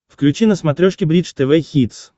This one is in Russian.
включи на смотрешке бридж тв хитс